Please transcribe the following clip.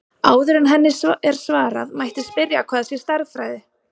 Áður en henni er svarað mætti spyrja hvað sé stærðfræði.